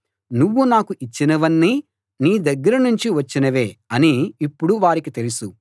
నువ్వు నాకు ఇచ్చినవన్నీ నీ దగ్గర నుంచి వచ్చినవే అని ఇప్పుడు వారికి తెలుసు